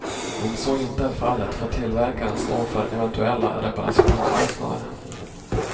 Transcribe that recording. Om så inte är fallet får tillverkaren stå för eventuella reparationskostnader.